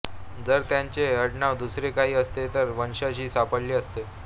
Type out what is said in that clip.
जर त्यांचे आडनाव दुसरे काही असते तर वंशज ही सापडले असते